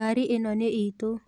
ngari ĩno nĩitũ.